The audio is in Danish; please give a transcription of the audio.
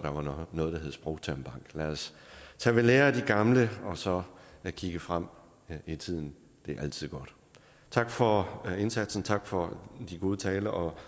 der var noget der hed sprogtermbank lad os tage ved lære af de gamle og så kigge frem i tiden det er altid godt tak for indsatsen tak for de gode taler og